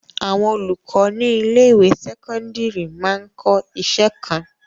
Àwọn olùkọ ní ilé-ìwé sẹ́kọ́ńdírì máa ń kọ́ iṣẹ́ kan.